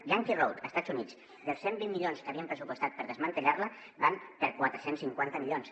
yankee road als estats units dels cent i vint milions que havien pressupostat per desmantellar la van per quatre cents i cinquanta milions